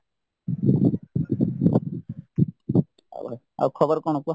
ଆଉ ଭାଇ ଆଉ ଖବର କଣ କୁହ ?